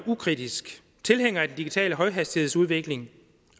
ukritisk tilhænger af den digitale højhastighedsudvikling